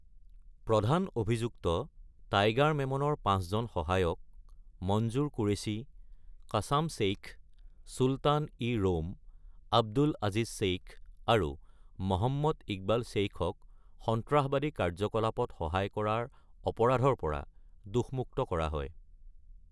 প্ৰধান অভিযুক্ত টাইগাৰ মেমনৰ পাঁচজন সহায়ক, মনজুৰ কুৰেশ্বি, কাছাম শ্বেইখ, চুলতান-ই-ৰোম, আব্দুল আজিজ শ্বেইখ, আৰু মহম্মদ ইকবাল শ্বেইখক সন্ত্ৰাসবাদী কাৰ্যকলাপত সহায় কৰাৰ অপৰাধৰ পৰা দোষমুক্ত কৰা হয়।